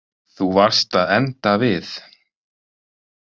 Þú varst að enda við.